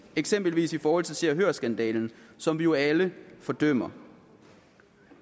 eksempelvis i forhold til se og hør skandalen som vi jo alle fordømmer